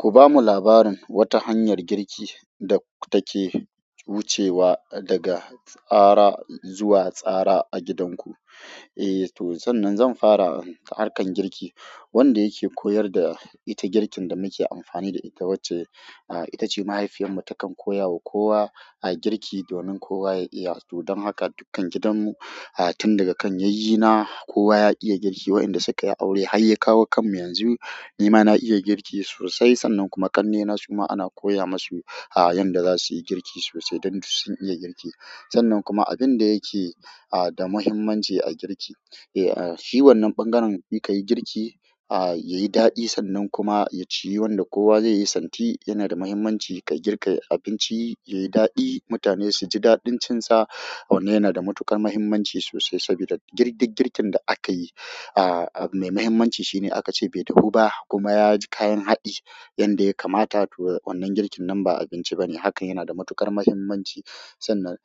Ku ba mu labarin wata hanyar girki da take wucewa daga tsara zuwa tsara a gidanku eh. Eh to, sannan zan fara da harkan girki wanda yake koyar da ita girkin da muke amfani da ita wacce ah. Itace mahaifiyar mu takan koyawa kowa, a girki domin kowa ya iya, to don haka dukkan gidan mu, ah, tun daga kan yayye na kowa ya iya girki wa'inda sukayi aure har ya kawo kanmu yanzu. Ni ma na iya girki sosai. Sannan kuma ƙannena suma ana koya masu a yanda za su yi girki sosai don sun iya girki. Sannan kuma abin da yake ah, da muhimmanci a girki, eh a shi wannan ɓangaren in kayi girki ah, yayi daɗi sannan kuma ya ciyu wanda kowa zai yi santi. Yana da muhimmanci ka girka abinci ya yi daɗi mutane su ji daɗin cin sa. Wannan yana da matuƙar muhimmanci sosai, sabida duk girkin da akayi ah ab mai muhimmanci shine aka ce bai dahu ba kuma ya ji kayan haɗi yanda ya kamata. To wannan girkin nan ba abinci ba ne. Hakan yana da matuƙar muhimmanci. Sannan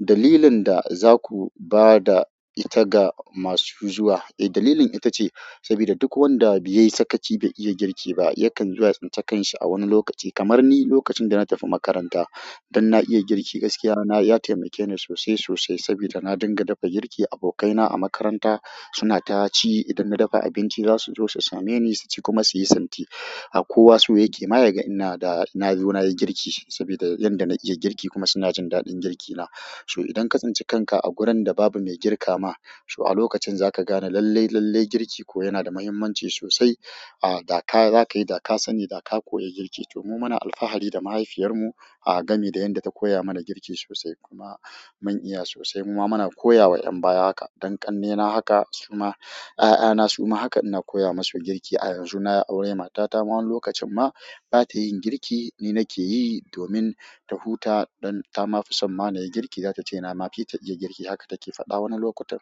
dalilin da za ku ba da ita ga masu zuwa. Eh dalilin ita ce, sabida duk wanda bai yi sakaci bai iya girki ba yakan zuwa tsince kanshi a wani lokaci. Kamar ni lokacin da na tafi makaranta don na iya girki, gaskiya na ya taimake ni sosai sosai saboda na dinga dafa girki. Abokaina a makaranta suna taci idan na dafa abinci za su zo su same ni su ci kuma su yi santi. A kowa so yake ma yaga ina da na zo na yi girki sabida yanda na iya girki kuma suna jin daɗin girki na. So idan ka tsinci kanka a gurin da babu mai girka ma, so a lokacin za ka gane lalle lalle girki ko yana da muhimmanci sosai ah. Da ka za ka yi, da ka sani da ka koya girki. To mu muna alfahari da mahaifiyar mu ah, game da yanda ta koya mana girki sosai kuma mun iya sosai. Muma muna koyawa yan'baya haka. Don ƙannena haka suma 'ya'yana suma haka ina koya masu girki akan a yanzu nayi aure matata ma wani lokacin ma bata yin girki, ni nakeyi domin ta huta, don ta ma fi son ma nayi girki zatace na ma fita iya girki. Haka take faɗa wani lokutan.